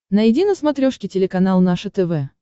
найди на смотрешке телеканал наше тв